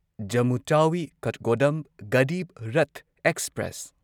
Jammu Tawi Kathgodam Garib Rath express